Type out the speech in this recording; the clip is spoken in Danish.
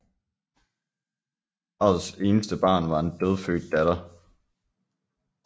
Parrets eneste barn var en dødfødt datter